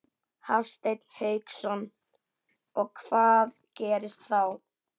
Hafsteinn Hauksson: Og hvað gerist þá?